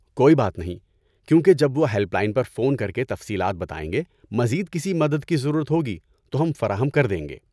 کوئی بات نہیں، کیونکہ جب وہ ہیلپ لائن پر فون کرکے تفصیلات بتائیں گے، مزید کسی مدد کی ضرورت ہوگی تو ہم فراہم کر دیں گے۔